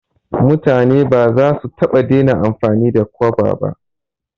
Mutane ba za su taɓa dena amfani da kwaba ba